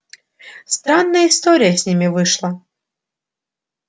странная история с ними вышла